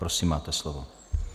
Prosím, máte slovo.